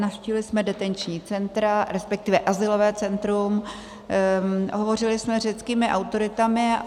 Navštívili jsme detenční centra, respektive azylové centrum, hovořili jsme s řeckými autoritami.